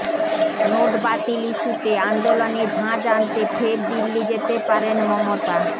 নোটি বাতিল ইস্যুতে আন্দোলনে ঝাঁঝ আনতে ফের দিল্লি যেতে পারেন মমতা